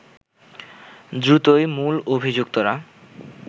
দ্রুতই মূল অভিযুক্তরা